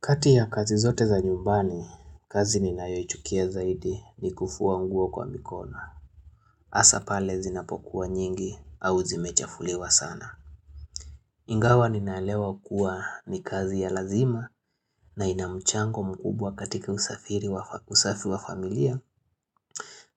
Kati ya kazi zote za nyumbani, kazi ninayoichukia zaidi ni kufua nguo kwa mikono. Hasapale zinapokuwa nyingi au zimechafuliwa sana. Ingawa ninaelewa kuwa ni kazi ya lazima na inamchango mkubwa katika usafiri wa usafi wa familia.